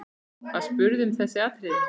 Var spurt um þessi atriði.